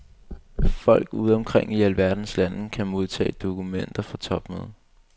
Folk ude omkring i alverdens lande kan modtage dokumenter fra topmødet.